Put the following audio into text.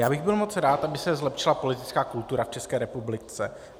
Já bych byl moc rád, aby se zlepšila politická kultura v České republice.